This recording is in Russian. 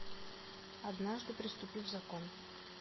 однажды преступив закон